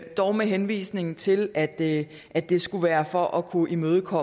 dog med henvisning til at at det skulle være for at kunne imødegå